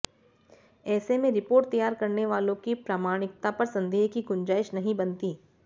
ऐसे में रिपोर्ट तैयार करने वालों की प्रामाणिकता पर संदेह की गुंजाइश नहीं बनती